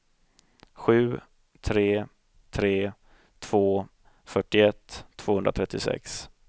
sju tre tre två fyrtioett tvåhundratrettiosex